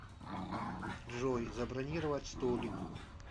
джой забронировать столик